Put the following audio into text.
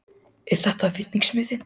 Breki Logason: Er þetta vinningsmiðinn?